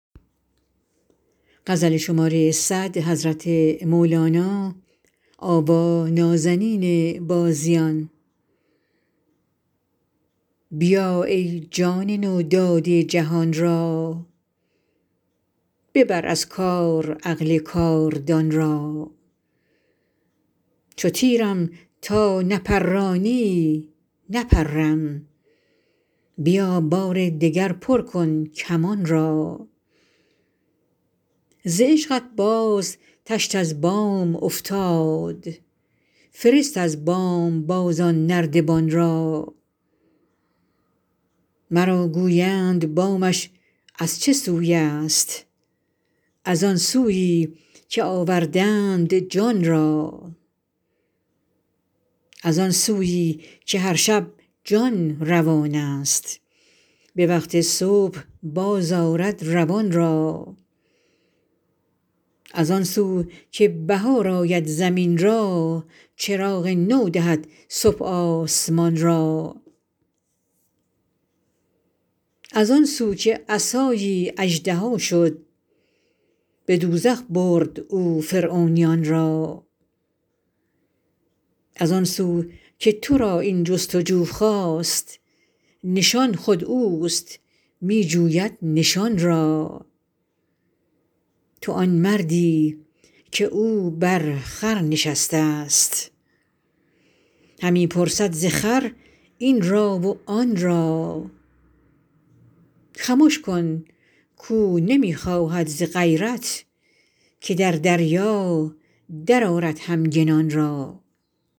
بیا ای جان نو داده جهان را ببر از کار عقل کاردان را چو تیرم تا نپرانی نپرم بیا بار دگر پر کن کمان را ز عشقت باز تشت از بام افتاد فرست از بام باز آن نردبان را مرا گویند بامش از چه سوی است از آن سویی که آوردند جان را از آن سویی که هر شب جان روان است به وقت صبح بازآرد روان را از آن سو که بهار آید زمین را چراغ نو دهد صبح آسمان را از آن سو که عصایی اژدها شد به دوزخ برد او فرعونیان را از آن سو که تو را این جست و جو خاست نشان خود اوست می جوید نشان را تو آن مردی که او بر خر نشسته است همی پرسد ز خر این را و آن را خمش کن کاو نمی خواهد ز غیرت که در دریا درآرد همگنان را